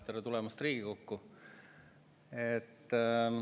Tere tulemast Riigikokku!